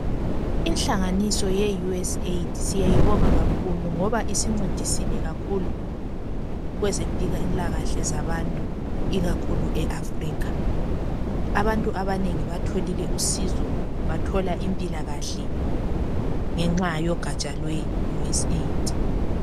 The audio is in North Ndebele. Inhlanganiso ye"US AID" siyayibonga kakhulu ngoba isincedisile kakhulu kwezempilakahle zabantu ikakhulu Africa. Abantu abanengi batholile usizo, bathola impilakahle ngenxa yogaja lwe"US AID".